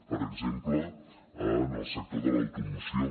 per exemple en el sector de l’automoció